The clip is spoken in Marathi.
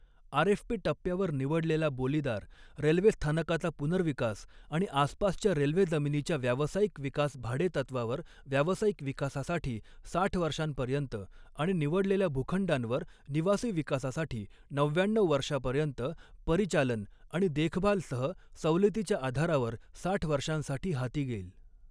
आरएफपी टप्प्यावर निवडलेला बोलीदार रेल्वे स्थानकाचा पुनर्विकास आणि आसपासच्या रेल्वे जमीनीच्या व्यावसायिक विकास भाडेतत्वावर व्यावसायिक विकासासाठी साठ वर्षांपर्यंत आणि निवडलेल्या भूखंडांवर निवासी विकासासाठी नव्याण्णऊ वर्षापर्यंत, परिचालन आणि देखभालसह सवलतीच्या आधारावर साठ वर्षांसाठी हाती घेईल.